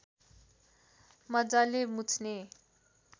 मज्जाले मुछ्ने